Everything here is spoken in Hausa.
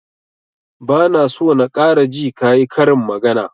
Ba na so na ƙara ji ka yi karin magana!